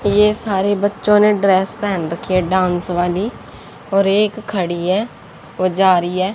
ये सारे बच्चों ने ड्रेस पहन रखी है डांस वाली और एक खड़ी है वो जा रही है।